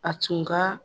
A tun ka